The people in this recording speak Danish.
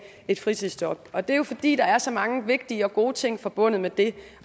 et fritidsjob og det er jo fordi der er så mange vigtige og gode ting forbundet med det